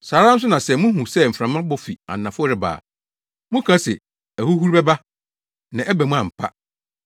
Saa ara nso na sɛ muhu sɛ mframa bɔ fi anafo reba a, moka se, ‘Ahuhuru bɛba!’ Na ɛba mu ampa.